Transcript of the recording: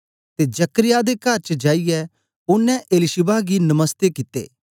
ते जकर्याह दे कर च जाईयै ओनें एलीशिबा गी नमस्ते कित्ता